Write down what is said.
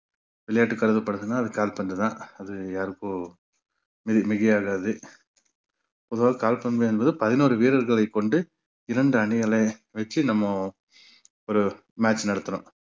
விளையாட்டு கருப்படுத்துனா அது கால்பந்துதான் அது யாருக்கு மிகை~ மிகையாகாது பொதுவாக கால்பந்து என்பது பதினோரு வீரர்களைக் கொண்டு இரண்டு அணிகளை வச்சு நம்ம ஒரு match நடத்துறோம்